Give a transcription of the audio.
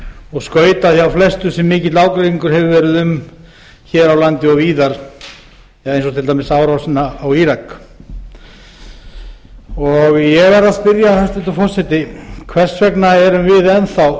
og skautað hjá flestu sem mikill ágreiningur hefur verið um hér á landi og víðar eins og til dæmis árásina á írak ég verð að spyrja hæstvirtur forseti hvers vegna erum við enn þá